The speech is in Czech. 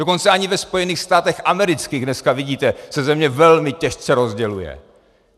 Dokonce ani ve Spojených státech amerických - dneska vidíte, se země velmi těžce rozděluje.